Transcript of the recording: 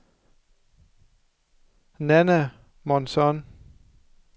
Nanna Månsson